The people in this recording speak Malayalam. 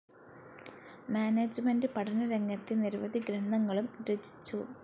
മാനേജ്മെന്റ്‌ പഠനരംഗത്തെ നിരവധി ഗ്രന്ഥങ്ങളും രചിച്ചു.